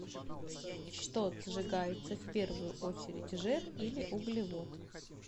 что сжигается в первую очередь жир или углевод